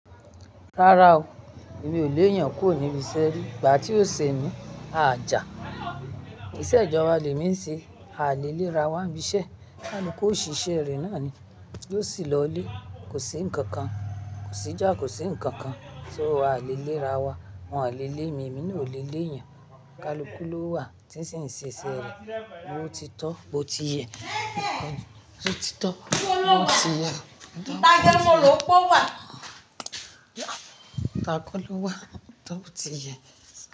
Rárá o, èmi ò lé èèyàn kúrò níbi iṣẹ́ rí, ìgbà tí ó ṣe ni a jà. Isẹ́ ìjọba lẹ̀ mí ń ṣe, a lè lé ra wá ń bí iṣẹ́. Kaluku òṣìṣẹ́ rẹ̀ náà ni. Lo sì lọlé, kò sí ǹkankan, kò sí ìjà, kò sí ǹkankan, só a lè lé ra wa, wọn lè lé mi, èmi ni ò lè lé èèyàn. Kaluku ló wà tí ń ṣe ìṣe iṣẹ́ rẹ̀. Bó ti tọ́, bó ti yẹ. Wó ti tọ́, ó ti yẹ. Kaluku ló wà, tọ́ ó ti yẹ.